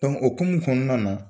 o ukumu kɔnɔna na